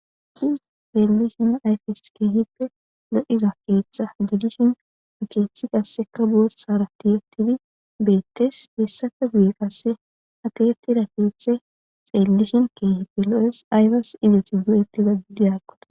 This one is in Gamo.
i relishona ayfes keehippe lo7iza keeththa diidishin akeethi qasseka borsara tiyatifi beettes hessaka guye qasse aketi rakeeththe xeellishin keehippe lo7es ayfes iziti du7eti gagidiyaqota